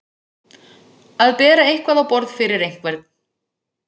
Að bera eitthvað á borð fyrir einhvern